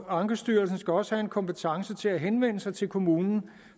ankestyrelsen skal også have en kompetence til at henvende sig til kommunen